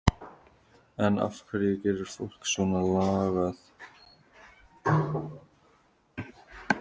En af hverju gerir fólk svona lagað?